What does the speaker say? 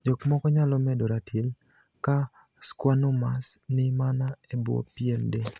Jokmoko nyalo medo ratil ka schwannomas ni mana ebwo pien del.